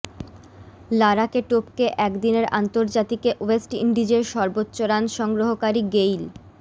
লারাকে টপকে একদিনের আন্তর্জাতিকে ওয়েস্ট ইন্ডিজের সর্বোচ্চ রান সংগ্রহকারী গেইল